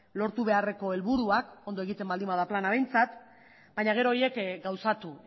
lortu beharreko helburuak ondo egiten baldin bada plana behintzat baina gero horiek gauzatu